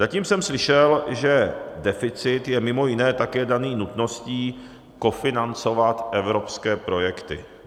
Zatím jsem slyšel, že deficit je mimo jiné také daný nutností kofinancovat evropské projekty.